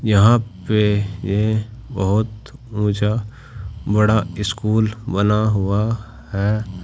यहां पे ये बहुत ऊंचा बड़ा स्कूल बना हुआ है।